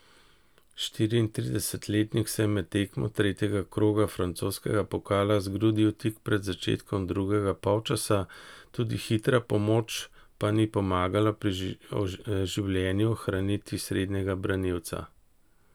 Štiriintridesetletnik se je med tekmo tretjega kroga francoskega pokala zgrudil tik pred začetkom drugega polčasa, tudi hitra pomoč pa ni pomagala pri življenju ohraniti srednjega branilca.